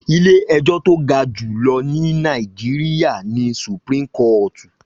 Ilé ẹjọ́ tó ga jùlọ ní Nàìjíríyà ni Supreme kọ́ọ̀tù